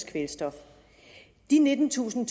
kvælstof de nittentusind